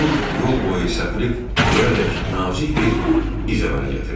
Un yol boyu səpilib gölədək nazik bir iz əmələ gətirmişdi.